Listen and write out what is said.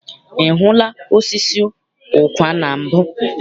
I hụla osisi ụkwa na mbụ?